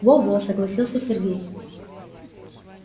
во-во согласился сергей